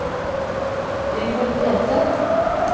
Rigmor Stenseth